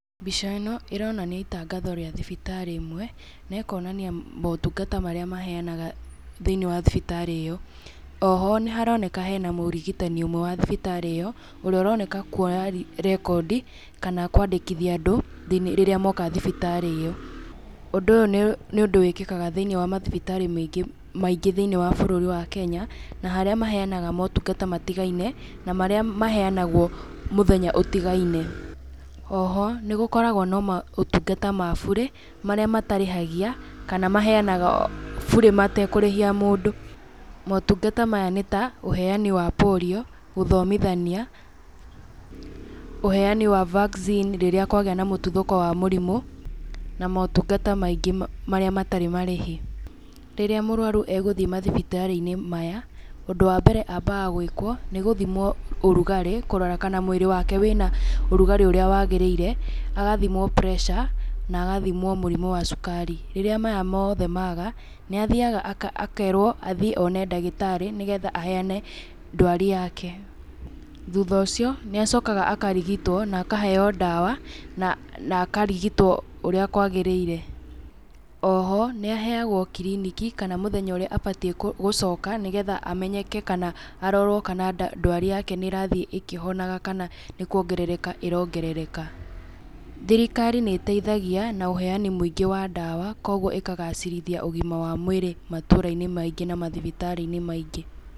Mbica ĩno ĩronania itangatho rĩa thibitarĩ ĩmwe, na ĩkonania maũtungata marĩa maheanaga thĩ-inĩ wa thibitarĩ ĩyo, o ho nĩ haroneka hena mũrigitani ũmwe wa thibitarĩ ĩyo, ũrĩa ũroneka kuoya rekondi kana kwandĩkithia andũ, rĩrĩa moka thibitarĩ-inĩ ĩyo, Ũndũ ũyũ nĩ ũndũ wĩkĩkaga thĩ-inĩ wa mathibitarĩ maingĩ, thĩ-inĩ wa bũrũri wa Kenya, na harĩa maheanaga motungata matigaine, na marĩa maheanagwo mũthenya ũtigaine, o ho, nĩ gũkoragwo na maũtungata ma burĩ, marĩa matarĩhagia, kana maheanaga burĩ matekũrĩhia mũndũ. Motungata maya nĩ ta, ũheani wa porio, gũthomithania, ũheani wa vaccine rĩrĩa kwagĩa na mũtuthũko wa mũrimũ, na motungata maingĩ marĩa matarĩ marĩhi. Rĩrĩa mũrwaru egũthiĩ mathibitarĩ-inĩ maya, ũndũ wa mbere ambaga gwĩkwo nĩ gũthimwo ũrugarĩ kũrora kana mwĩrĩ wake wĩna ũrugarĩ ũrĩa wagĩrĩire, agathimwo pureca na agathimwo mũrimũ wa cukari. Rĩrĩa maya mothe maga, nĩ athiaga akerwo athiĩ one ndagĩtarĩ, nĩgetha aheane ndwari yake. Thutha ũcio, nĩ acokaga akarigitwo na akaheo ndawa, na akarigitwo ũrĩa kwagĩrĩire. O ho nĩ aheagwo kiriniki kana mũthenya ũrĩa abatiĩ gũcoka, nĩgetha amenyeke kana arorwo kana ndwari yake nĩ ĩrathiĩ ĩkĩhonaga kana nĩkuongerereka ĩrongerereka. Thirikari nĩ ĩteithagia na ũheani mũingĩ wa ndawa, kũguo ĩkagacĩrithia ũgima wa mwĩrĩ matũra-inĩ maingĩ na mathibitarĩ-inĩ maingĩ.